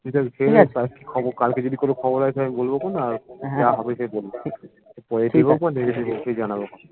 তুই তাহলে খেয়ে নে কালকে যদি কোনো খবর আসে আমি বলবো তখন যা হবে সে বলবো positive হোক বা negative হোক দুটোই জানাবো খন।